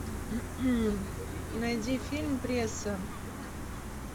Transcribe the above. найди фильм пресса